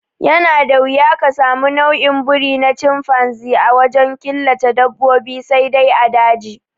Yana da wuya ka sami nau'in biri na canfanzi a wajen killace dabbobi sai dai a daji